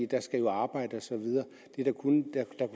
der skal jo arbejdes